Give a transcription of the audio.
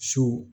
So